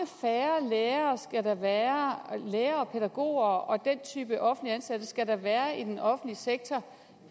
færre lærere pædagoger og den type offentligt ansatte skal der være i den offentlige sektor